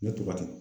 Ne tɔgɔ di